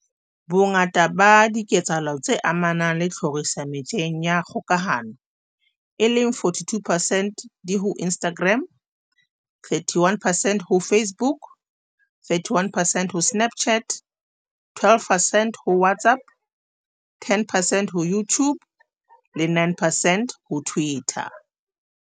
Bongata ba diketsahalo tse amanang le tlhoriso metjheng ya kgokahano, e leng 42 percent, di ho Instagram, 31 percent ho Facebook, 31 percent ho Snapchat, 12 percent ho WhatsApp, 10 percent ho YouTube le 9 percent ho Twitter.